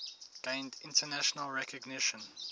gained international recognition